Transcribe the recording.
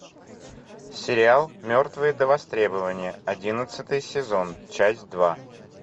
сериал мертвые до востребования одиннадцатый сезон часть два